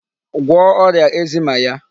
Gwọọ ọrịa eczema ya.